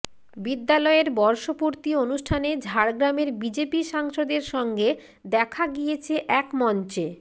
বিদ্যালয়ের বর্ষপুর্তি অনুষ্ঠানে ঝাড়গ্রামের বিজেপি সাংসদের সঙ্গে দেখা গিয়েছে এক মঞ্চে